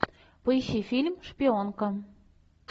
поищи фильм шпионка